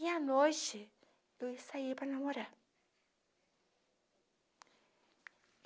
E à noite, eu ia sair para namorar.